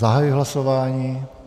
Zahajuji hlasování.